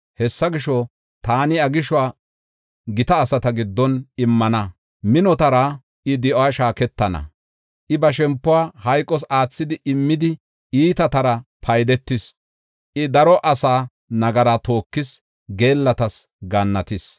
Hessa gisho, taani iya gishuwa gita asata giddon immana; minotara I di7uwa shaaketana. I ba shempuwa hayqos aathidi immidi, iitatara paydetis. I daro asaa nagaraa tookis; geellatas gaannatis.